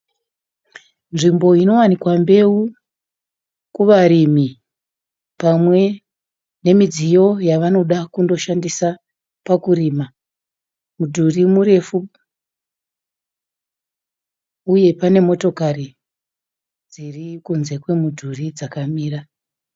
Nzvimbo inowanikwa mbeu kuvarimi pamwe nemidziyo yavanoda kushandisa pakurima. Mudhuri murefu uye pane motokari yakamira padivi pemudhuri